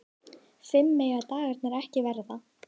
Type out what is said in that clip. Fimm mega dagarnir ekki verða.